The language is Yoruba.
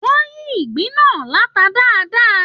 Wọn yí ìgbín náà lata dáadáa.